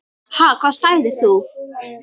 Ha, hvað sagðir þú?